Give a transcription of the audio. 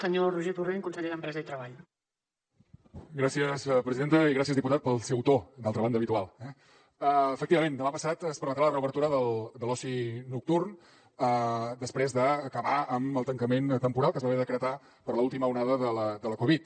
gràcies presidenta i gràcies diputat pel seu to d’altra banda habitual eh efectivament demà passat es permetrà la reobertura de l’oci nocturn després d’acabar amb el tancament temporal que es va haver de decretar per l’última onada de la covid